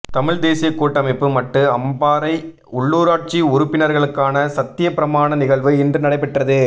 தமிழ்த் தேசியக் கூட்டமைப்பு மட்டு அம்பாறை உள்ளுராட்சி உறுப்பினர்களுக்கான சத்தியப் பிரமாண நிகழ்வு இன்று நடைபெற்றது